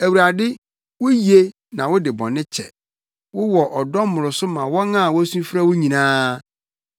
Awurade, wuye na wode bɔne kyɛ, wowɔ ɔdɔ mmoroso ma wɔn a wosu frɛ wo nyinaa.